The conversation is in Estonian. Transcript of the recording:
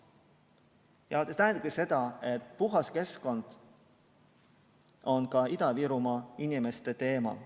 Ja see tähendab ju seda, et puhas keskkond on ka Ida-Virumaa inimeste teema.